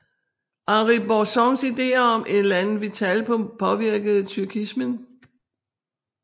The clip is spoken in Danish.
Henri Bergsons idéer om élan vital påvirkede tyrkismen